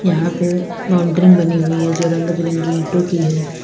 यहां पे बाउंड्री मे बनी हुई है जो रंग बिरंगी ईंटों की है।